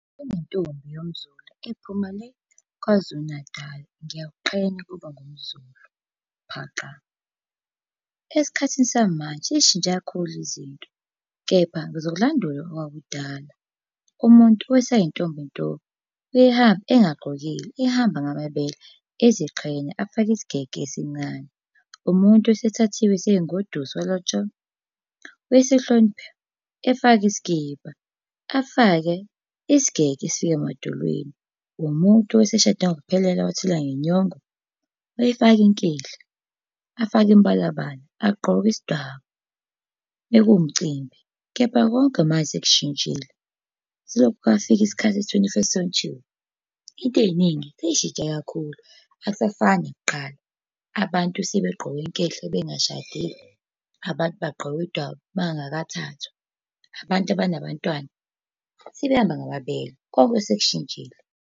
Kunentombi yomZulu ephuma le KwaZulu Natal. Ngiyakuqhenya ukuba ngumZulu phaqa. Esikhathini samanje sey'shintshe kakhulu izinto, kepha ngizokulandula owakudala, umuntu osayintombi nto, wayehamba engagqokile, ehamba ngamabele, eziqhenya, afake isigege esincane. Umuntu owayesethathiwe eseyingoduso walotsholwa, wayesehlonipha efaka isikibha, afake isigege esifika emadolweni. Umuntu owayeseshade ngokuphelele wathelwa ngenyongo. Wayefaka inkehli, afake imibalabala, agqoke isidwaba. Bekuwumcimbi, kepha konke manje sekushintshile, selokhu kwafika isikhathi se-twenty-first century. Into ey'ningi sey'shintshe kakhulu, akusafani nakuqala, abantu sebegqoka inkehli bengashadile. Abantu bagqoka iy'dwaba, bangakathathwa. Abantu abanabantwana sebehamba ngamabele konke sekushintshile.